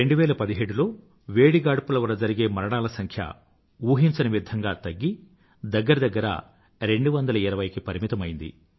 2017లో వేడి గాడ్పుల వల్ల జరిగే మరణాల సంఖ్య ఊహించని విధంగా తగ్గి దగ్గర దగ్గర 220కి పరిమితమైంది